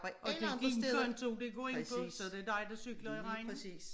Og det er din konto det går ind på så det er dig der cykler i regnen